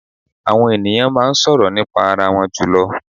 Àwọn è̀nìyàn máa ń sọ̀rọ̀ nípa arawọn jùlọ.